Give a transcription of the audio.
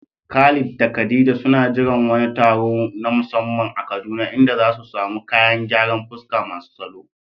Khalid da khadija suna jiran wani taro na musamman a Kaduna inda zasu samu kayan gyaran fuska masu salo